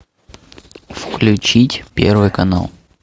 включить первый канал